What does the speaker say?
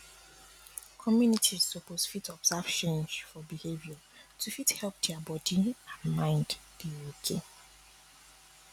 communities suppose fit observe change for behavior to fit help dia body um n mind dey okay